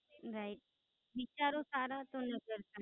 Right વિચારો સારા હોઈ તો મતલબ નાઈ